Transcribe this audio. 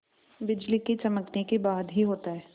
बिजली के चमकने के बाद ही होता है